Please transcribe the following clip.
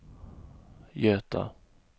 Göta